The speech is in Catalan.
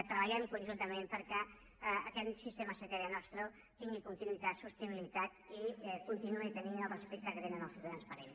treballem conjuntament perquè aquest sistema sanitari nostre tingui continuïtat sostenibilitat i continuï tenint el respecte que tenen els ciutadans per ell